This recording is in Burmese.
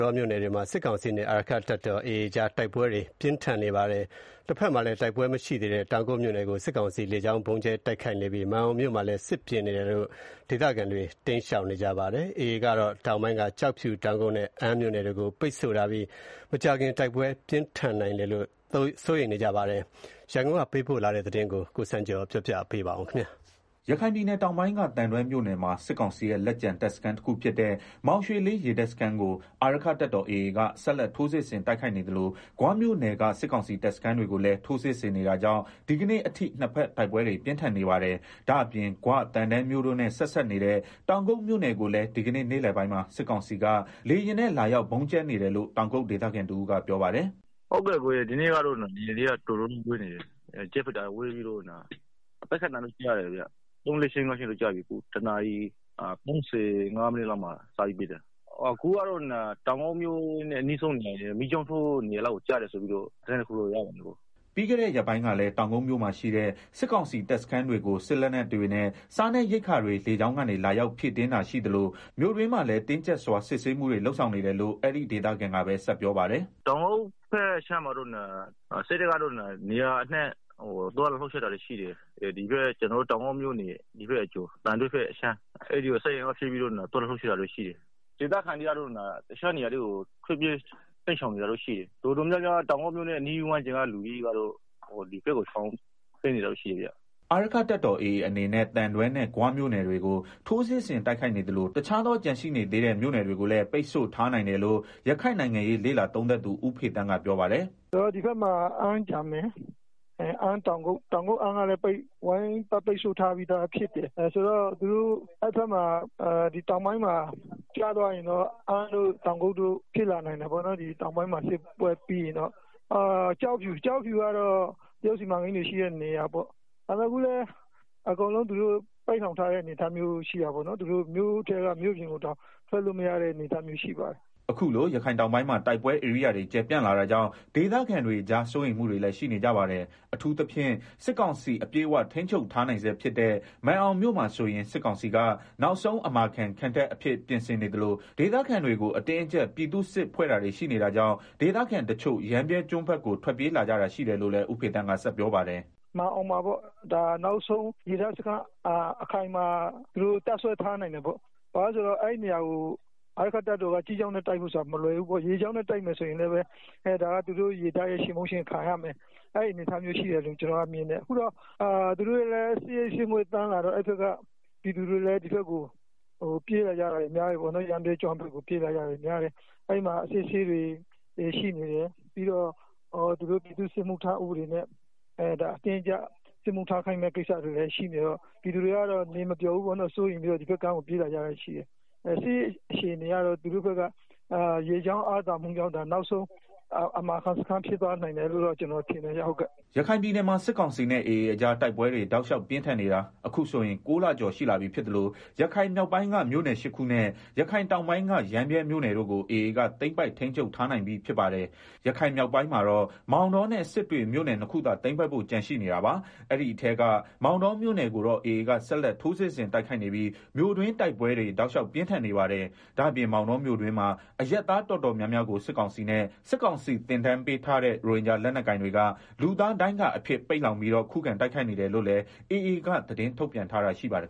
တောမြို့နယ်တွေမှာ စစ်ကောင်စီနဲ့ အာရက္ခတပ်တော် AA အကြား တိုက်ပွဲတွေ တောက်လျှောက်ပြင်းထန်နေပါတယ်။ တဘက်မှာလည်း တိုက်ပွဲ ဖြစ်ပွားခြင်းမရှိသေးတဲ့ တောင်ကုတ်မြို့နယ်ကို စစ်ကောင်စီက လေကြောင်းကနေ ဗုံးကြဲ တိုက်ခိုက်နေသလို မာန်အောင်မြို့နယ်မှာလည်း စစ်ရေး ပြင်ဆင်နေတာတွေကြောင့် ဒေသခံတွေ တိမ်းရှောင်နေရပါတယ်။ လက်ရှိမှာတော့ AA အနေနဲ့ ရခိုင်ပြည်နယ် တောင်ပိုင်းက ကျောက်ဖြူ ၊ တောင်ကုတ်နဲ့ အမ်းမြို့နယ်တွေကို ပိတ်ဆို့ထားပြီး မကြာခင် တိုက်ပွဲတွေ ပြင်းထန်လာနိုင်တယ်လို့ ရခိုင်အရေး လေ့လာ သုံးသပ်သူ ဦးဖေသန်း က ပြောပါတယ်။ ဒီအကြောင်း ရန်ကုန်ပေးပို့တဲ့သတင်းကို အခြေခံပြီး တင်ပြပေးပါမယ်။ ရခိုင်ပြည်နယ်တောင်ပိုင်းက သံတွဲမြို့နယ်မှာ စစ်ကောင်စီရဲ့ လက်ကျန် တပ်စခန်းတခုဖြစ်တဲ့ မောင်ရွှေလေး ရေတပ်စခန်းကို အာရက္ခတပ်တော် AA က ဆက်လက် ထိုးစစ်ဆင် တိုက်ခိုက်နေသလို ဂွမြို့နယ်က စစ်ကောင်စီတပ်စခန်းတွေကိုလည်း ထိုးစစ်ဆင်နေတာကြောင့် ဒီကနေ့အထိ နှစ်ဖက်တိုက်ပွဲတွေ ပြင်းထန်နေပါတယ်။ ဒါ့အပြင် ဂွ ၊ သံတွဲမြို့တို့နဲ့ ဆက်စပ်နေတဲ့ တောင်ကုတ်မြို့နယ်ကိုလည်း ဒီကနေ့ နေ့လည်ပိုင်းမှာ စစ်ကောင်စီက လေယာဉ်နဲ့ လာရောက်ဗုံးကြဲနေတယ်လို့ တောင်ကုတ်ဒေသခံ တဦးကပြောပါတယ်။ “ဒီနေ့ကတော့ လေယာဉ်တွေ တော်တော်များများ ဝဲနေတယ်၊ ဂျက်ဖိုက်တာတွေ ဝဲနေတာ ပစ်ခတ်သံလည်း ကြားတယ်။ ဒီနေ့ ၁နာရီ ၃၅မိနစ်လောက်က စပြီးတော့ ပစ်တယ်၊ ၅ကြိမ် လောက်ရှိပြီဗျာ။ တောင်ကုတ်မြို့ရဲ့ အနီးအနားတွေ ကျတယ်လို့ သတင်းရတယ်ဗျာ။” ပြီးခဲ့တဲ့ ရက်ပိုင်းကလည်း တောက်ကုတ်မြို့မှာရှိတဲ့ စစ်ကောင်စီတပ်စခန်းတွေကို စစ်လက်နက်တွေနဲ့ စားနပ်ရိက္ခာတွေ လေကြောင်းကနေ လာရောက် ဖြည့်တင်းတာ ရှိသလို မြို့တွင်းမှာလည်း တင်းကြပ်စွာ စစ်ဆေးမှုတွေ လုပ်ဆောင်နေတယ်လို့ အဲဒီ ဒေသခံကပဲ ဆက်ပြောပါတယ်။ “တောက်ကုတ်မှာတော့ စစ်တပ်က နေရာအနှံ့ သွားလာလှုပ်ရှားတာတွေ ရှိတယ်။ ကျနော်တို့ တောင်ကုတ်အကျော် သံတွဲဘက်အခြမ်းကို စစ်အင်အား ဖြည့်ပြီးတော့ သွားလာလှုပ်ရှားနေတာ ရှိတယ်။ ဒေသခံတွေကတော့ တခြားနေရာတွေကို ထွက်ပြေး တိမ်းရှောင်နေကြတာ ရှိတယ်။ တော်တော်များများ တောင်ကုတ်မြို့အနီးအနား ကျေးရွာတွေက လူတွေ တိမ်းရှောင် နေကြတာဗျာ။” အာရက္ခတပ်တော် AA အနေနဲ့ သံတွဲနဲ့ ဂွမြို့နယ်တွေကို ထိုးစစ်ဆင် တိုက်ခိုက်နေသလို တခြားသော ကျန်ရှိနေသေးတဲ့ မြို့နယ်တွေကိုလည်း ပိတ်ဆို့ထားနိုင်တယ်လို့ ရခိုင်နိုင်ငံရေး လေ့လာသုံးသပ်သူ ဦးဖေသန်းက ပြောပါတယ်။ “ ကျနော်တို့ ဒီဘက်မှာဆိုရင် အမ်း ၊ တောင်ကုတ် ကျန်မယ်။ အဲဒီမြို့တွေကလည်း ဝိုင်းပြီးတော့ ပိတ်ဆို့ထားတဲ့ မြို့တွေဖြစ်တယ်။ ဆိုတော့ တောင်ပိုင်းမှာ ပြတ်သွားရင်တော့ အမ်းတို့၊ တောင်ကုတ်တို့ ဖြစ်လာနိုင်တာပေါ့နော်၊ ပြီးတော့ တရုတ်စီမံကိန်းတွေရှိတဲ့ ကျောက်ဖြူကလည်း ပိတ်လှောင်ထားတဲ့ အနေအထား ရှိတာပေါ့နော်။ သူတို့ မြို့ထဲကနေ မြို့ပြင်တောင် ထွက်လို့ မရတဲ့ အနေအထားမျိုး ရှိပါတယ်။” အခုလို ရခိုင်တောင်ပိုင်းမှာ တိုက်ပွဲဧရိယာတွေ ကျယ်ပြန့်လာတာကြောင့် ဒေသခံတွေကြား စိုးရိမ်မှုတွေလည်း ရှိနေကြပါတယ်။ အထူးသဖြင့် စစ်ကောင်စီ အပြည့်အဝ ထိန်းချုပ်ထားနိုင်ဆဲဖြစ်တဲ့ မာန်အောင်မြို့မှာဆိုရင် စစ်ကောင်စီက နောက်ဆုံး အမာခံ ခံတပ်အဖြစ်ပြင်ဆင်နေသလို ဒေသခံတွေကို အတင်းအကြပ် ပြည်သူ့စစ်ဖွဲ့တာတွေ ရှိနေတာကြောင့် ဒေသခံတချို့ ရမ်းဗြဲကျွန်းဘက်ကို ထွက်ပြေးလာကြတာရှိတယ်လို့လည်း ဦးဖေသန်းက ဆက်ပြောပါတယ်။ “မာန်အောင်မှာတော့ နောက်ဆုံး ရေတပ်စခန်းအခိုင်အမာ တပ်စွဲ ထားနိုင်တယ်ပေါ့။ ဘာလို့လည်းဆိုတော့ အဲဒီနေရာကို အာရက္ခတပ်တော်က ကြည်းကြောင်းနဲ့ တိုက်ဖို့ဆိုတာ မလွယ်ဘူး။ ရေကြောင်းနဲ့ တိုက်မယ်ဆိုရင်လည်း ဒါက သူတို့ရေတပ်ရဲ့ ချေမှုန်းတာကို ခံရမယ်။ အဲဒီအနေအထားရှိတယ်လို့ ကျနော်မြင်တယ်။ အခုတော့ စစ်ရိပ် စစ်ငွေ့သန်းလာတော့ အဲဘက်ကပြည်သူတွေလည်း ဒီဘက်ကို ပြေးလာကြတာတွေ အများတယ်၊ ရမ်းဗြဲကျွန်း ဘက်ကိုပေါ့၊ အဲမှာ အစစ်အဆေးတွေရှိနေတယ်။ ပြီးတော့ စစ်မှုထမ်းဥပဒေနဲ့ အတင်းအကြပ် စစ်မှုထမ်းခိုင်းမယ့် ကိစ္စတွေလည်းရှိနေတယ်ဆိုတော့ ပြည်သူတွေကတော့ နေမပျော်ဘူးပေါ့နော်။ စိုးရိမ်ပြီးတော့ ဒီဘက်ကမ်းကို ပြေးလာကြတယ်။ စစ်ရေးအရတော့ သူတို့ဘက်က ရေတပ်အားသာချက်ကြောင့် အမာခံဖြစ်သွားနိုင်တယ်လို့ မြင်တယ်ဗျာ။” ရခိုင်ပြည်နယ်မှာ စစ်ကောင်စီနဲ့ AA အကြား တိုက်ပွဲတွေ တောက်လျောက်ပြင်းထန်နေတာ အခုဆိုရင် ၉လကျော်ရှိလာပြီဖြစ်သလို ရခိုင်မြောက်ပိုင်းက မြို့နယ် ၈ခုနဲ့ ရခိုင်တောင်ပိုင်းက ရမ်းဗြဲမြို့နယ်တို့ကို AA က သိမ်းပိုက် ထိန်းချုပ်ထားနိုင်ပြီး ဖြစ်ပါတယ်။ ရခိုင်မြောက်ပိုင်းမှာတော့ မောင်တောနဲ့ စစ်တွေမြို့နယ်နှစ်ခုသာ သိမ်းပိုက်ဖို့ ကျန်ရှိနေတာပါ။ အဲဒီထဲက မောင်တောမြို့နယ်ကိုတော့ AA က ဆက်လက် ထိုးစစ်ဆင် တိုက်ခိုက်နေပြီး မြို့တွင်းတိုက်ပွဲတွေ တောက်လျောက် ပြင်းထန်နေပါတယ်။ ဒါ့ပြင်မောင်တော မြို့တွင်းမှာအရပ်သား တော်တော်များများကို စစ်ကောင်စီနဲ့ စစ်ကောင်စီသင်တန်းပေးထားတဲ့ ရိုဟင်ဂျာလက်နက်ကိုင်တွေက လူသားဒိုင်းကာအဖြစ် ပိတ်လှောင်ပြီးတော့ ခုခံ တိုက်ခိုက်နေတယ်လို့လည်း AA က ထုတ်ပြန်ထားတာရှိပါတယ်